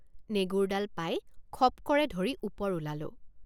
নেগুৰডাল পাই খপ কৰে ধৰি ওপৰ ওলালোঁ।